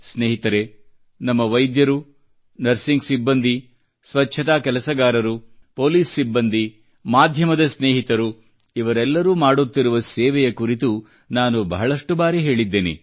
ಸ್ನೇಹಿತರೆ ನಮ್ಮ ವೈದ್ಯರು ನರ್ಸಿಂಗ್ ಸಿಬ್ಬಂದಿ ಸ್ವಚ್ಛತಾ ಕೆಲಸಗಾರರು ಪೆÇಲೀಸ್ ಸಿಬ್ಬಂದಿ ಮಾಧ್ಯಮದ ಸ್ನೇಹಿತರು ಇವರೆಲ್ಲರೂ ಮಾಡುತ್ತಿರುವ ಸೇವೆಯ ಕುರಿತು ನಾನು ಬಹಳಷ್ಟು ಬಾರಿ ಹೇಳಿದ್ದೇನೆ